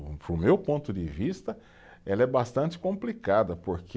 Para o meu ponto de vista, ela é bastante complicada, porque